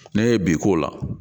N'a ye bi k'o la